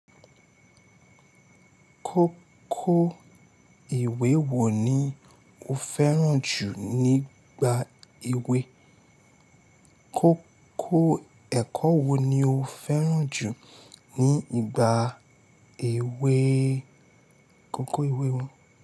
Kókó ìwé wo ni o fẹ́ràn jù nígbà èwe? Kókó ẹ̀kọ́ wo ni o fẹ́ràn jù ní ìgbà èwe kókó ìwé wọn?